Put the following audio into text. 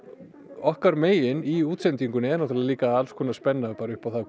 okkar megin í útsendingunni er náttúrlega líka alls konar spenna bara upp á það